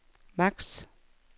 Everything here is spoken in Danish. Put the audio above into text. max